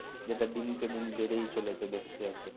যেটা দিনকে দিন বেড়েয় চলেছে দেখছি একদম